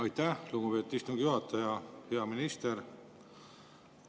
Aitäh, lugupeetud istungi juhataja!